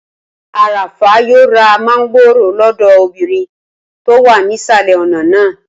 Arafah yóò ra mángòrò lọ́dọ̀ obìnrin tó wà nísàlẹ̀ ọ̀nà náà